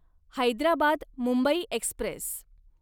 Hyderabad Mumbai Express